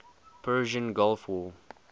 persian gulf war